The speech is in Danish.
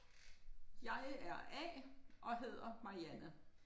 Jeg er A og hedder Marianne